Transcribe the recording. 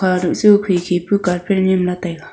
hahkha duh su khi khipe carpet niam la taiga.